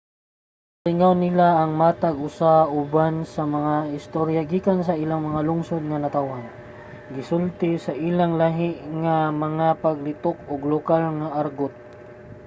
ginalingaw nila ang matag usa uban sa mga istorya gikan sa ilang mga lungsod nga natawhan gisulti sa ilang lahi nga mga paglitok ug lokal nga argot,